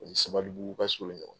U ni sabalibugu ka surun ɲɔgɔn na.